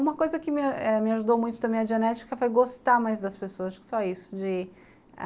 Uma coisa que eh me ajudou muito também a genética foi gostar mais das pessoas, só isso.